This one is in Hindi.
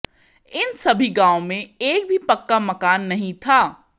इन सभी गांव में एक भी पक्का मकान नहीं था